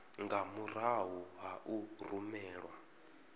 nga murahu ha u rumelwa